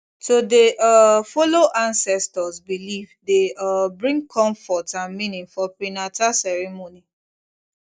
to dey um follow ancestors belief dey um bring comfort and meaning for prenata ceremony